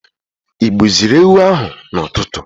igbuziri ewu ahụ na ụtụtụ?